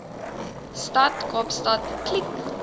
stad kaapstad kliek